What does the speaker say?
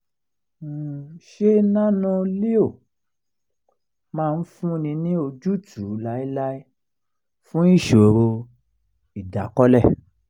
ṣé nano-leo máa fúnni ní ojútùú láéláé fún ìṣòro ìdákọ́lẹ̀?